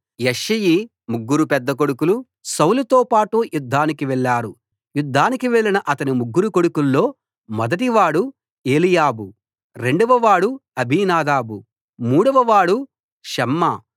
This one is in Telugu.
యెష్షయి ముగ్గురు పెద్ద కొడుకులు సౌలుతోపాటు యుద్ధానికి వెళ్లారు యుద్ధానికి వెళ్ళిన అతని ముగ్గురు కొడుకుల్లో మొదటివాడు ఏలీయాబు రెండవవాడు అబీనాదాబు మూడవవాడు షమ్మా